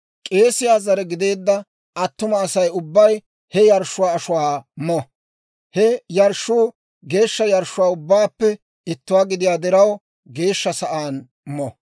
K'eesiyaa zare gideedda attuma Asay ubbay he yarshshuwaa ashuwaa mo. He yarshshuu geeshsha yarshshuwaa ubbaappe ittuwaa gidiyaa diraw, geeshsha sa'aan mo.